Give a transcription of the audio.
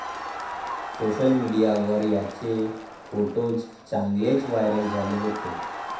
Social मीडियावर यांचे photos चांगलेच व्हायरल झाले होते.